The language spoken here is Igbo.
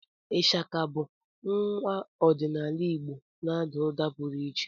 Ishaka bụ ngwa ọdịnala Igbo na-àdá ụda pụrụ iche